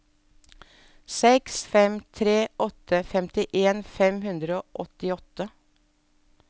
seks fem tre åtte femtien fem hundre og åttiåtte